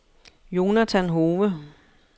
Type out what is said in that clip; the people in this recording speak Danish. Jonathan Hove